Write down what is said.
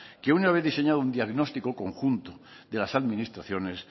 que una vez diseñado un diagnóstico conjunto de las administraciones